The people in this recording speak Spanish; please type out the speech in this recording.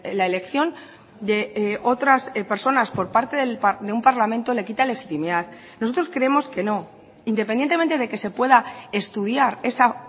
la elección de otras personas por parte de un parlamento le quita legitimidad nosotros creemos que no independientemente de que se pueda estudiar esa